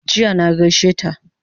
Jiya na gaishe ta